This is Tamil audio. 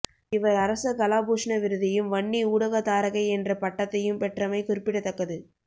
இவர் அரச கலாபூஷண விருதையும் வன்னி ஊடகத்தாரகை என்ற பட்டத்தையும் பெற்றமை குறிப்பிடத்தக்கது